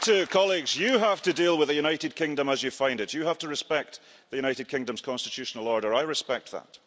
Colleagues, you have to deal with the United Kingdom as you find it, and you have to respect the United Kingdom's constitutional order. I respect that.